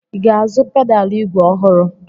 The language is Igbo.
I ga-azụ pedalụ ígwè ọhụrụ?